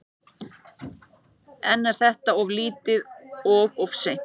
En er þetta of lítið og of seint?